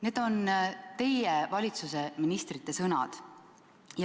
" Need on teie valitsuse ministrite sõnad.